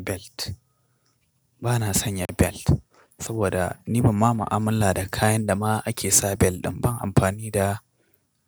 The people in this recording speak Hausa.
Belt. Bana sanya belt saboda ni ba ma mu'amala da kayan da ma ake sa belt ɗan. Ban amfani da